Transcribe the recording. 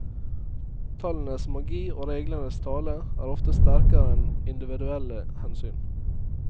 Tallenes magi og reglenes tale er ofte sterkere enn individuelle hensyn.